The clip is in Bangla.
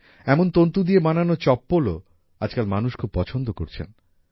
এমন তন্তু দিয়ে বানানো চপ্পলও আজকাল মানুষ খুব পছন্দ করছেন